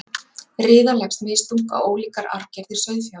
riða leggst misþungt á ólíkar arfgerðir sauðfjár